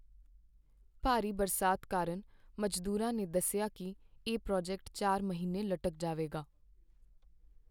ਭਾਰੀ ਬਰਸਾਤ ਕਾਰਨ ਮਜ਼ਦੂਰਾਂ ਨੇ ਦੱਸਿਆ ਕੀ ਇਹ ਪ੍ਰਾਜੈਕਟ ਚਾਰ ਮਹੀਨੇ ਲਟਕ ਜਾਵੇਗਾ